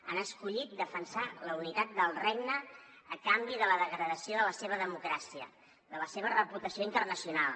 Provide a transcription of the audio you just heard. han escollit defensar la unitat del regne a canvi de la degradació de la seva democràcia de la seva reputació internacional